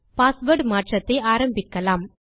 password மாற்றத்தை ஆரம்பிக்கலாம்